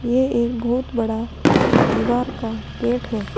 ये एक बहुत बड़ा दीवार का गेट है।